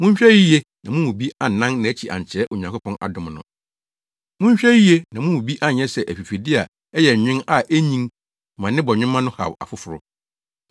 Monhwɛ yiye na mo mu bi annan nʼakyi ankyerɛ Onyankopɔn adom no. Monhwɛ yiye na mo mu bi anyɛ sɛ afifide a ɛyɛ nwen a enyin ma ne bɔnwoma no haw afoforo.